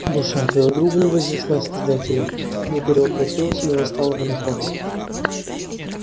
душа твоего друга не вознеслась к создателю не перевоплотилась и не восстала в иной форме